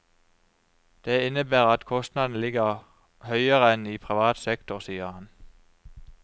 Det innebærer at kostnadene ligger høyere enn i privat sektor, sier han.